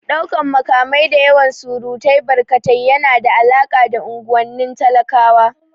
Ɗaukan makamai da yawan surutu barkatai yana da alaƙa da unguwannin talakawa